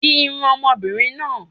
Di irun ọmọbìnrin náà.